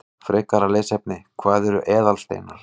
Frekara lesefni: Hvað eru eðalsteinar?